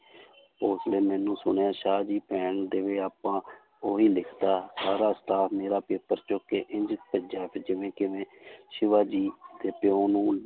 ਸੁਣਿਆ ਸ਼ਾਹ ਜੀ ਭੈਣ ਦੇਵੇ ਆਪਾਂ ਉਹੀ ਲਿਖਤਾ ਸਾਰਾ ਮੇਰਾ ਪੇਪਰ ਚੁੱਕ ਕੇ ਇੰਞ ਭੱਜਿਆ ਵੀ ਜਿਵੇਂ ਕਿਵੇਂ ਸਿਵਾ ਜੀ ਦੇ ਪਿਓ ਨੂੰ